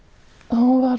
hún var